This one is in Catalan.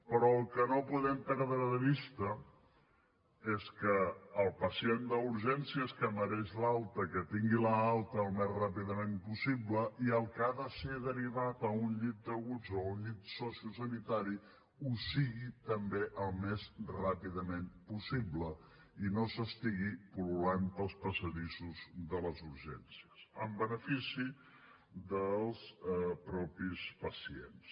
però el que no podem perdre de vista és que el pacient d’urgències que mereix l’alta que tingui l’alta al més ràpidament possible i el que ha de ser derivat a un llit d’aguts o a un llit sociosanitari ho sigui també al més ràpidament possible i no s’estigui pul·lulant pels passadissos de les urgències en benefici dels mateixos pacients